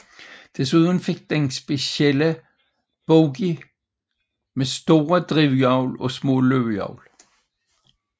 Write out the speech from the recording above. Desuden fik den specielle bogier med store drivhjul og små løbehjul